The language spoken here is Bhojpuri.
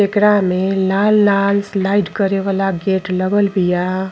एकरा मे लाल-लाल स्लाइड करे वाला गेट लगल बिया।